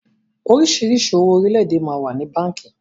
Oríṣiríṣi owó orílédé máa ń wà ní báńkì